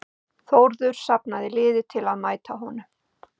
Þórður safnaði liði til að mæta honum.